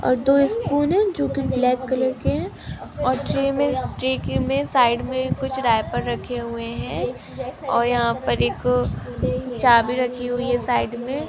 और दो स्यून है जो की ब्लाक कलर के है और ट्रे मे ट्रे के साइड मे कुछ र्यापर रखे हुए है और यहा पर एक चावी रखी हुई है साइड मे।